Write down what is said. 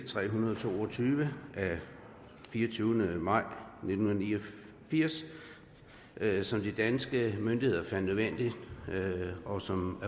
tre hundrede og to og tyve af fireogtyvende maj nitten ni og firs som de danske myndigheder fandt nødvendigt og som